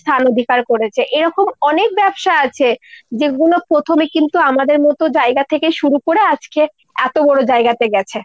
স্থান অধিকার করেছে। এরকম অনেক ব্যবসা আছে যেগুলো প্রথমে কিন্তু আমাদের মতো জায়গা থেকে শুরু করে আজকে এত বড়ো জায়গাতে গেছে।